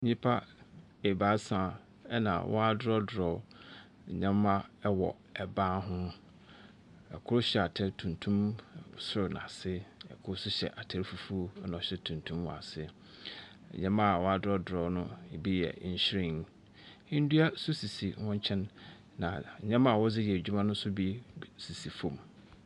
Nnipa ebaasa na wɔadorɔdorɔ nneɛma wɔ ban ho. Kor hyɛ atar tuntum sor na ase. Kor nso hyɛ atar fufuo na ɔhyɛ tuntum wɔ ase. Nneɛma a wɔadorɔdorɔ no bi yɛ nhwiren. Ndua nso sisi hɔn nkyɛn, na nneɛma a wɔdze yɛ edwuma no nso bi sisi fam.